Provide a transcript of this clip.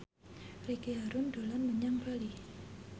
Ricky Harun dolan menyang Bali